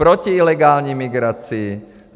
Proti ilegální migraci.